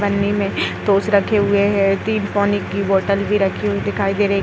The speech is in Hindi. में टोस रखे हुए हैं। तीन पानी की बोतल भी रखी हुई दिखाई दे रही --